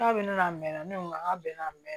K'a bɛ ne la mɛn ne ko k'a bɛn na mɛn